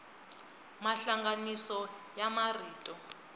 mahlanganiso ya marito